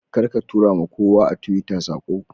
Karka tura ma kowa a Twitter sako